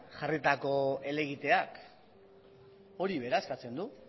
jarritako helegiteak hori bera eskatzen du